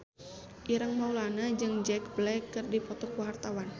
Ireng Maulana jeung Jack Black keur dipoto ku wartawan